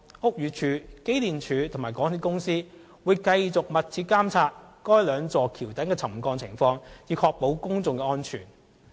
屋宇署、機電署及港鐵公司會繼續密切監察該兩座橋躉的沉降情況，以確保公眾安全。